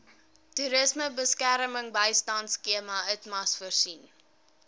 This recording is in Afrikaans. toerismebemarkingbystandskema itmas voorsien